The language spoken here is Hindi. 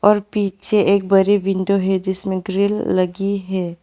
पीछे एक बड़ी विंडो है जिसमें ग्रिल लगी है।